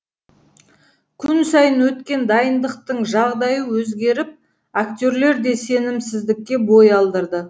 күн сайын өткен дайындықтың жағдайы өзгеріп актерлер де сенімсіздікке бой алдырды